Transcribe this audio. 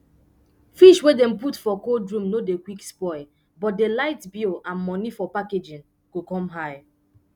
fish wey dem put for cold room no dey quick spoil but d light bill and money for packaging go come high